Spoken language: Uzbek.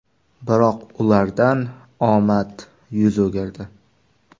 Biroq, ulardan omad yuz o‘girdi.